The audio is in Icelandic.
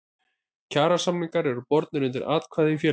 Kjarasamningar eru bornir undir atkvæði í félaginu.